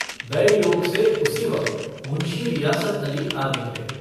दैवयोग से उसी वक्त मुन्शी रियासत अली आ निकले।